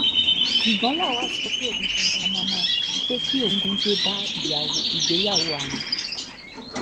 ṣùgbọ́n lawal pé kí bá iyawo ìgbéyàwó àwọn